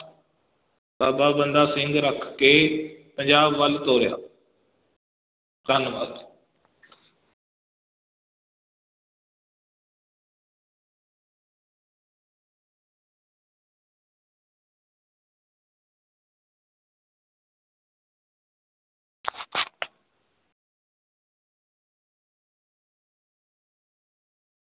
ਬਾਬਾ ਬੰਦਾ ਸਿੰਘ ਰੱਖ ਕੇ ਪੰਜਾਬ ਵੱਲ ਤੋਰਿਆ ਧੰਨਵਾਦ।